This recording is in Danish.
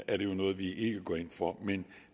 at det er noget vi ikke går ind for men